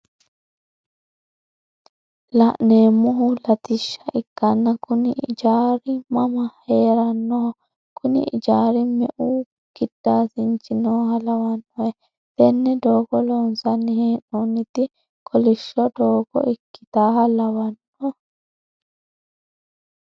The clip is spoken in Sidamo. La'neemohu latishsha ikkanna kuni ijaari mama heerannoh?, kunni ijaari me"u gidaasinchi nooha lawannohe? tenne doogo loonsanni he'noonniti kolishsho doogo ikkitaaha lawannohe?